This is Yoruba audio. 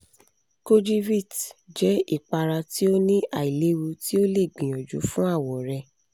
kojivit jẹ ipara ti o ni ailewu ti o le gbiyanju fun awọ rẹ